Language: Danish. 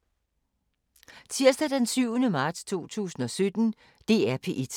DR P1